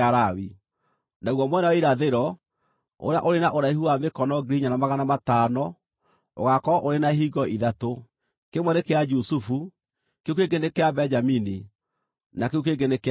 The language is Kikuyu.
“Naguo mwena wa irathĩro, ũrĩa ũrĩ na ũraihu wa mĩkono 4,500, ũgaakorwo ũrĩ na ihingo ithatũ: kĩmwe nĩ kĩa Jusufu, kĩu kĩngĩ nĩ kĩa Benjamini, na kĩu kĩngĩ nĩ kĩa Dani.